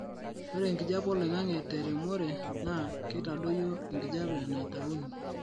ore enkijape oloingangi te remore naa kuitadoyia enkijape naitauni